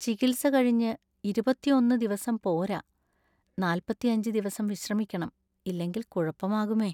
ചികിത്സ കഴിഞ്ഞ് ഇരുപത്തിഒന്ന് ദിവസം പോരാ , നാല്‍പത്തിഅഞ്ച് ദിവസം വിശ്രമിക്കണം. ഇല്ലെങ്കില്‍ കുഴപ്പമാകുമേ.